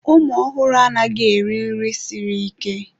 Ụmụ ọhụrụ anaghị eri nri siri ike.